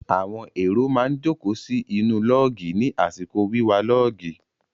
Àwọn èrò má ń jókòó sí inú lọ́ọ̀gì ní àsìkò wíwa lọ́ọ̀gì.